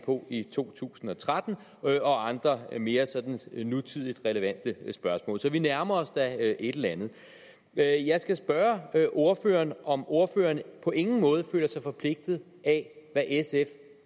på i 2013 og andre mere sådan nutidigt relevante spørgsmål så vi nærmer os da et eller andet jeg jeg skal spørge ordføreren om ordføreren på ingen måde føler sig forpligtet af hvad sf